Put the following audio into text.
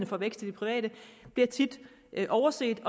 for vækst i det private bliver tit overset